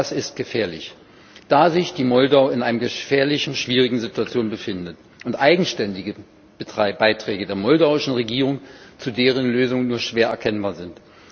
Das ist gefährlich, da sich die Republik Moldau in einer gefährlichen, schwierigen Situation befindet und eigenständige Beiträge der moldauischen Regierung zu deren Lösung nur schwer erkennbar sind.